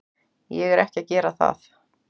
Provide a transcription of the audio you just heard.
Ég er ekki að gera það.